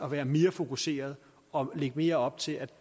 at være mere fokuseret og lægge mere op til at